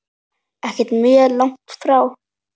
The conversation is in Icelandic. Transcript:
Ekkert mjög langt frá.